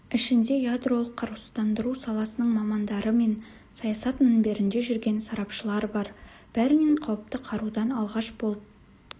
ішінде ядролық қарусыздандыру саласының мамандары мен саясат мінберінде жүрген сарапшылар бар бәрінен қауіпті қарудан алғаш болып